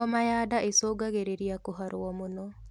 Hom ya ndaa icungagirirĩa kuharuo mũno